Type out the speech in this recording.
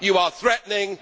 you are threatening